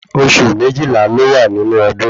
Osù méjìlá ló wà nínú ọdún